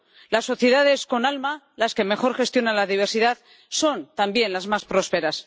Las sociedades con alma, las que mejor gestionan la diversidad, son, también, las más prósperas.